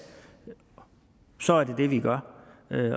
så er det det vi gør